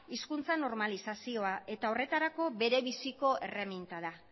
hizkuntza normalizazioa eta horretako bere biziko erreminta da